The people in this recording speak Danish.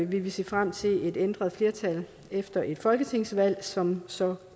vil vi se frem til et ændret flertal efter et folketingsvalg som så